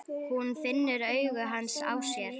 Hún finnur augu hans á sér.